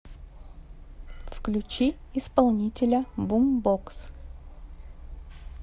включи исполнителя бумбокс